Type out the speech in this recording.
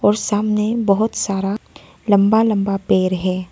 सामने बहुत सारा लंबा लंबा पेड़ है।